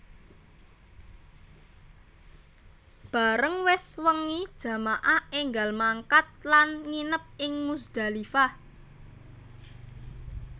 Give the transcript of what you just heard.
Bareng wis wengi jamaah énggal mangkat lan nginep ing Muzdalifah